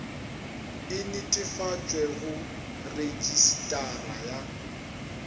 e netefatšwe go retšisetara ya